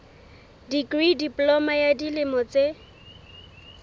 dikri diploma ya dilemo tse